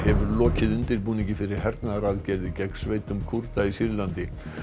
lokið undirbúningi fyrir hernaðaraðgerð gegn sveitum Kúrda í Sýrlandi